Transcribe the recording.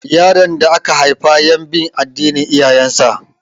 Yaron da aka haifa yan bin addinin iyayen sa